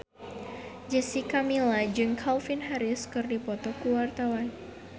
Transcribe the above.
Jessica Milla jeung Calvin Harris keur dipoto ku wartawan